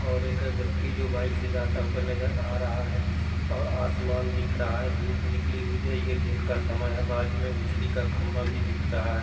और एक व्यक्ति जो बाइक से जाता हुआ नजर आ रहा है। और आसमान दिख रहा है। धूप निकली हुई है ये दिन का समय है। बाजू में बिजली का खम्भा भी दिख रहा है।